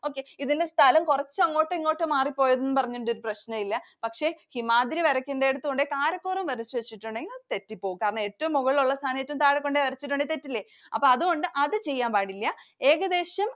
Okay ഇതില് സ്ഥലം കൊറച്ച് അങ്ങോട്ടും, ഇങ്ങോട്ടും മാറിപ്പോയെന്നു പറഞ്ഞിട്ട് പ്രശ്നമില്ല. പക്ഷേ ഹിമാദ്രി വരക്കേണ്ടിയിടത്ത് കൊണ്ടുപോയി കാരക്കോറം വരച്ചു വച്ചിട്ടുണ്ടെങ്കില്‍ അത് തെറ്റിപോകും. കാരണം ഏറ്റവും മുകളിലുള്ള സ്ഥാനം ഏറ്റവും താഴെ കൊണ്ട് വരച്ചിട്ടുണ്ടെങ്കില്‍ തെറ്റില്ലേ. അപ്പൊ അതുകൊണ്ട് അത് ചെയ്യാന്‍പാടില്ല. ഏകദേശം